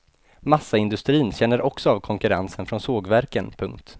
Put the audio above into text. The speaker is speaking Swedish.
Massaindustrin känner också av konkurrensen från sågverken. punkt